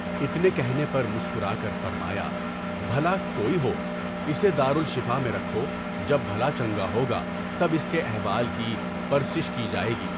اتنے کہنے پر مسکرا کر فرمايا، بھلا کوئی ہو، اسے دارُ الشفاء میں رکھو، جب بھلا چنگا ہوگا تب اس کے احوال کی پرسش کی جائے گی۔